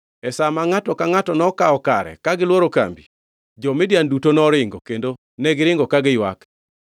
E sa ma ngʼato ka ngʼato nokawo kare ka gilworo kambi, jo-Midian duto noringo, kendo negiringo ka giywak.